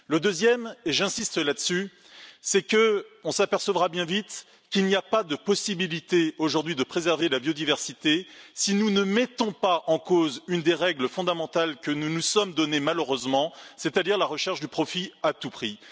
Le deuxième point et j'insiste là dessus c'est que nous apercevrons bien vite qu'il n'est pas possible, aujourd'hui, de préserver la biodiversité si nous ne mettons pas en cause une des règles fondamentales que nous nous sommes données, malheureusement, c'est à dire la recherche du profit à tout prix.